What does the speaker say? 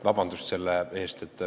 Vabandust selle eest!